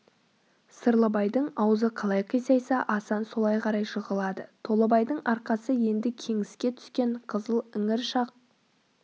сырлыбайдың аузы қалай қисайса асан солай қарай жығылады толыбайдың арқасы енді кеңіске түскен қызыл іңір шақ